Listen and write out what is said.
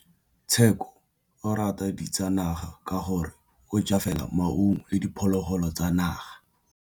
Tshekô o rata ditsanaga ka gore o ja fela maungo le diphologolo tsa naga.